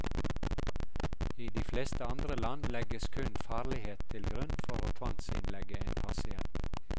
I de fleste andre land legges kun farlighet til grunn for å tvangsinnlegge en pasient.